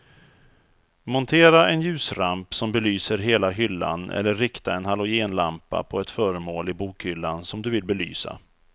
Montera en ljusramp som belyser hela hyllan eller rikta en halogenlampa på ett föremål i bokhyllan som du vill belysa.